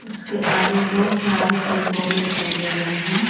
उसके आगे बहोत सारे पेड़-पौधे दिखाई दे रहे है।